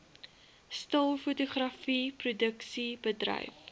stil fotografie produksiebedryf